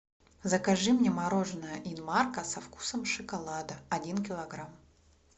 закажи мне мороженое инмарко со вкусом шоколада один килограмм